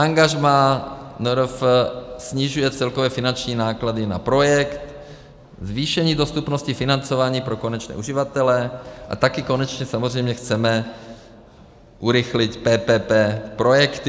Angažmá NRF snižuje celkové finanční náklady na projekt, zvýšení dostupnosti financování pro konečné uživatele, a také konečně samozřejmě chceme urychlit PPP projekty.